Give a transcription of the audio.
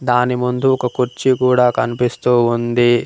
దాని ముందు ఒక కుర్చీ కూడా కనిపిస్తూ ఉంది.